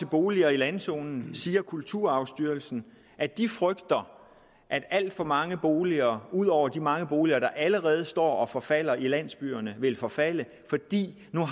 boliger i landzonen siger kulturarvsstyrelsen at de frygter at alt for mange boliger ud over de mange boliger der allerede står og forfalder i landsbyerne vil forfalde fordi man